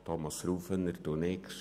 Thomas Rufener nickt.